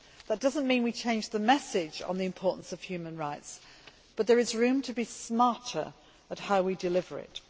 That does not mean we should change the message on the importance of human rights, but there is room to be smarter in how we deliver it.